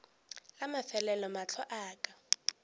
la mafelelo mahlo a ka